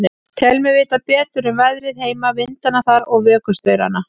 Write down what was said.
Tel mig vita betur um veðrið heima, vindana þar og vökustaurana.